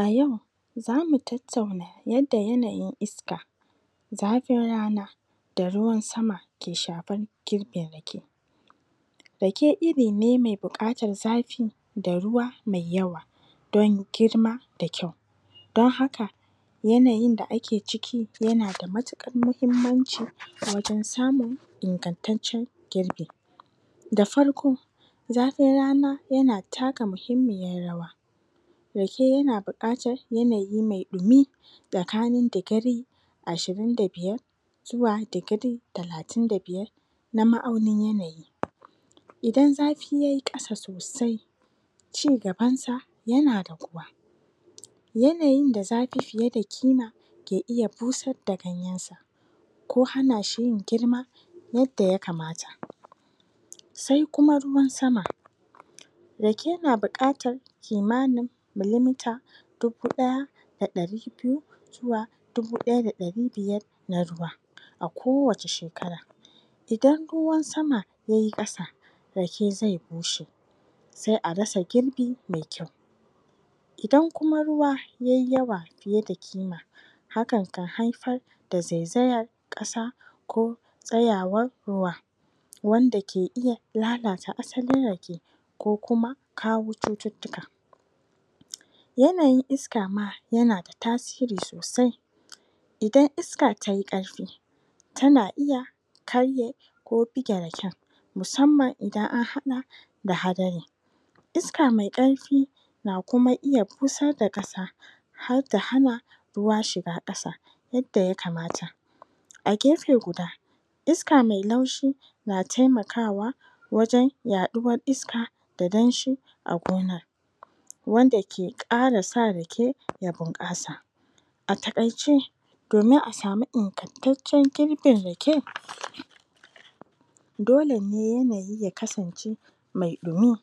A yau za mu tattauna yadda yanayin iska, zafin rana da ruwan sama ke shafar girbin rake. Rake iri ne mai buƙatar zafi da ruwan sama mai yawa don girma da kyau. Don haka, yanayin da ake ciki yana da matuƙar muhimmanci wajen samun ingantaccen girbi. Da farko, zafin rana yana taka muhimmiyar rawa. Rake yana buƙatar yanayin mai ɗumi tsakanin digiri ashirin da biyar zuwa digiri talatin da biyar na ma'aunin yanayi. Idan zafi ya yi ƙasa sosai, cigabansa yana yanayin da zafi fiye da ƙima ke iya busar da ganyensa ko hana shi yin girma yadda ya kamata Sai kuma ruwan sama. Rake yana buƙatar kimanin milimita dubu ɗaya da ɗari biyu zuwa dubu ɗaya da ɗari biyar na ruwa kowace shekara. Idan ruwan sama ya yi ƙasa, rake zai bushe, sai a rasa girbi Idan kuma ruwa ya yi yawa fiye da kima, hakan na haifar zaizayar ƙasa ko tsayawar ruwa wanda ke iya lalata asalin rake ko kuma kawo cututtuka. Yanayin iska ma yana da tasiri sosai Idan iska ta yi ƙarfi, tana iya karye ko bige raken musamman idan an haɗa da hadari. Iska mai ƙarfi na kuma iya busar da ƙasa har ta hana ruwa shiga ƙasa yadda ya kamata. A gefe guda iska mai laushi na taimakawa wajen yaɗuwar iska da danshi a gonar, wanda ke ƙara sa rake ya bunƙasa. A taƙaice, domin a samu ingantaccen girbin rake dole yanayi ya kasance mai ɗumi,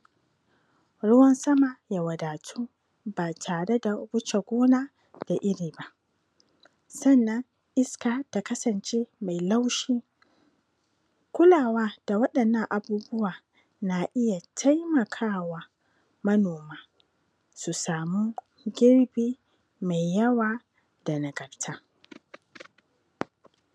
ruwan sama ya wadatu ba tare da wuce gona da iri ba. Sannan iska ta kasance mai laushi. Kulawa da waɗannan abunuwa na iya taimaka wa manoma su samu girbi mai yawa da nagarta.